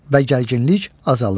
Və gərginlik azalır.